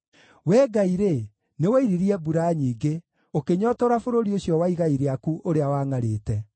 Wee Ngai-rĩ, nĩwoiririe mbura nyingĩ, ũkĩnyootora bũrũri ũcio wa igai rĩaku ũrĩa wangʼarĩte.